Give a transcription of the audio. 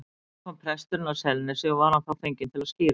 Um vorið kom presturinn að Selnesi og var hann þá fenginn til að skíra.